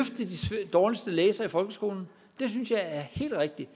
dårligste læsere i folkeskolen det synes jeg er helt rigtigt